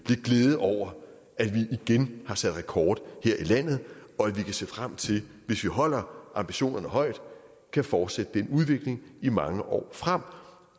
lidt glæde over at vi igen har sat rekord her i landet og at vi kan se frem til hvis vi holder ambitionerne højt at fortsætte den udvikling i mange år frem